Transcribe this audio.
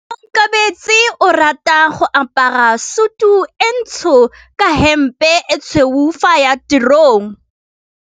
Onkabetse o rata go apara sutu e ntsho ka hempe e tshweu fa a ya tirong.